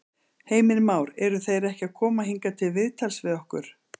Heimir Már: Eru þeir ekki að koma hingað til viðtals við okkur?